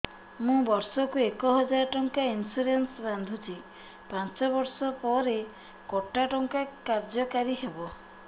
ମୁ ବର୍ଷ କୁ ଏକ ହଜାରେ ଟଙ୍କା ଇନ୍ସୁରେନ୍ସ ବାନ୍ଧୁଛି ପାଞ୍ଚ ବର୍ଷ ପରେ କଟା ଟଙ୍କା କାର୍ଯ୍ୟ କାରି ହେବ